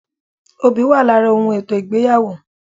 Obì wà lára ohun ètò ìgbéyàwó